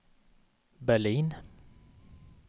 Berlin